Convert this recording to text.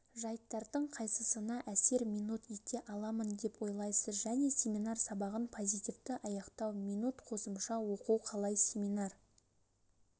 жайттардың қайсысына әсер минут ете аламын деп ойлайсыз және семинар сабағын позитивті аяқтау минут қосымша оқу қалай семинар